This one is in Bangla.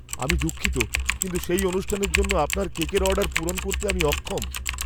আমি দুঃখিত, কিন্ত সেই অনুষ্ঠানের জন্য আপনার কেকের অর্ডার পূরণ করতে আমি অক্ষম।